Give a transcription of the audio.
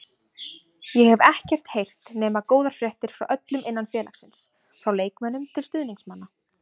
Ég hef ekkert heyrt nema góðar fréttir frá öllum innan félagsins, frá leikmönnum til stuðningsmanna.